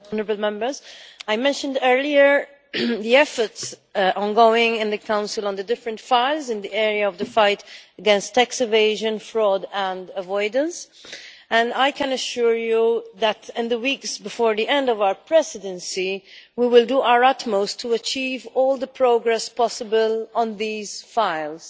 Mr President, I mentioned earlier the ongoing efforts in the Council on the different files in the area of the fight against tax evasion, fraud and avoidance, and I can assure you that in the weeks before the end of our presidency we will do our utmost to achieve all the progress possible on these files.